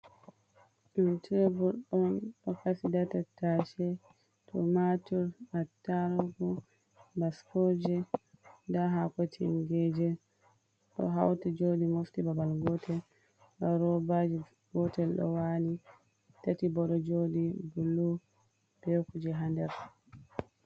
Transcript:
Ɗo'o tebul ɗon ɗo Kasi nda tattashe, tumatur, atarugu, baskoje nda haako tingeje ɗo hauti joɗi mofti babal gotel. Nda robaje gotel ɗo wali tati bo ɗo jodi bullu be Kuje ha nder.